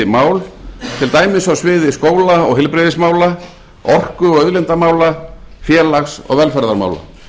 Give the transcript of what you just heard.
mál til dæmis á sviði skóla og heilbrigðismála orku og auðlindamála félags og velferðarmála